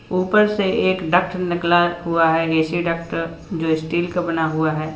ऊपर से एक डक्ट निकला हुआ है ए_सी डक्ट जो स्टील का बना हुआ है।